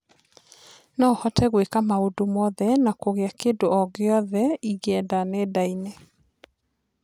No hote gwĩka maũndũ mothe na kũgĩa kĩndũ o gĩothe ingĩenda nendainĩ.